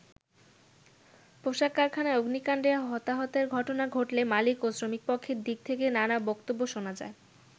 পোশাক কারখানায় অগ্নিকান্ডে হতাহতের ঘটনা ঘটলে মালিক ও শ্রমিক পক্ষের দিক থেকে নানা বক্তব্য শোনা যায়।